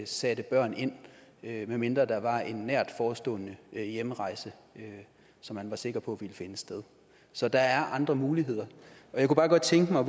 satte børn ind medmindre der var en nært forestående hjemrejse som man var sikker på ville finde sted så der er andre muligheder og jeg kunne bare godt tænke mig at